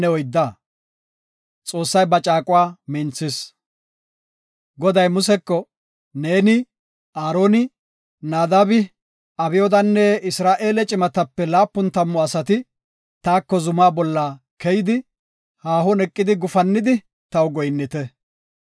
Goday Museko, “Neeni, Aaroni, Naadabi Abyoodanne Isra7eele cimatape laapun tammu asati taako zuma bolla keyidi, haahon eqidi, gufannidi, taw goyinnite.